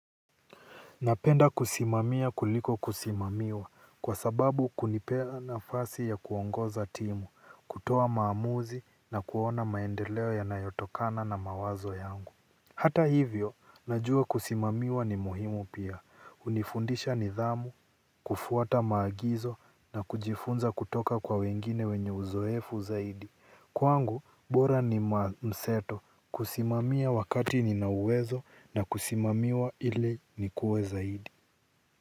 Napenda kusimamia kuliko kusimamiwa kwa sababu kunipea nafasi ya kuongoza timu, kutoa maamuzi na kuona maendeleo yanayotokana na mawazo yangu. Hata hivyo, najua kusimamiwa ni muhimu pia. Hunifundisha nidhamu, kufuata maagizo na kujifunza kutoka kwa wengine wenye uzoefu zaidi. Kwangu, bora ni mseto. Kusimamia wakati nina uwezo na kusimamiwa ile nikue zaidi.